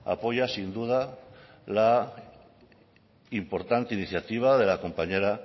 apoya sin duda la importancia iniciativa de la compañera